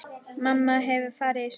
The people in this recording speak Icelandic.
Mamma hefur farið í sturtu.